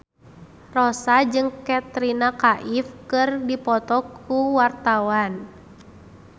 Rossa jeung Katrina Kaif keur dipoto ku wartawan